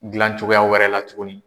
Gilan cogoya wɛrɛ la tuguni.